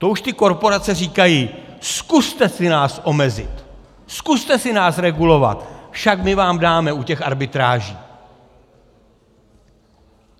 To už ty korporace říkají: Zkuste si nás omezit, zkuste si nás regulovat, však my vám dáme u těch arbitráží!